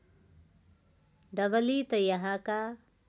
डबली त यहाँका